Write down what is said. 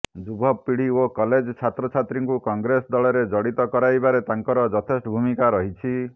ଯୁବପିଢି ଓ କଲେଜ ଛାତ୍ର ଛାତ୍ରୀଙ୍କୁ କଂଗ୍ରେସ ଦଳରେ ଜଡ଼ିତ କରାଇବାରେ ତାଙ୍କର ଯଥେଷ୍ଟ ଭୂମିକା ରହିଛି